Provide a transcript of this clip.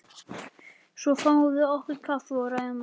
Svo fáum við okkur kaffi og ræðum málin.